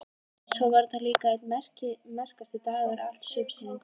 Svo var þetta líka einn merkasti dagur alls sumarsins.